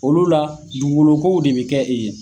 Olu la, dugukolow ko de bɛ kɛ yen.